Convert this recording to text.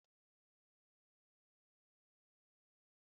Etinyere m gésha n'ime fịrij